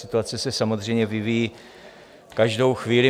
Situace se samozřejmě vyvíjí každou chvíli.